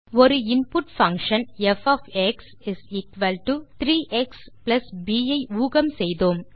ஒரு input function f 3 x f ஐ ஊகம் செய்தோம்